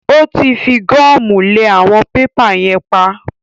Ó tí fi gọ́mù lẹ àwọn pépà yẹn pap.